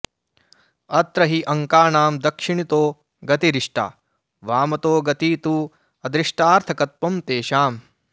अत्र हि अङ्कानां दक्षिणतो गतिरिष्टा वामतो गती तु अदृष्टार्थकत्वं तेषाम्